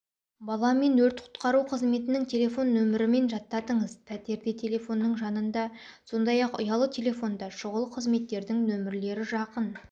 баламен өрт-құтқару қызметінің телефон нөмірімен жаттатыңыз пәтерде телефонның жанында сондай-ақ ұялы телефонда шұғыл қызметтердің нөмерлері жақын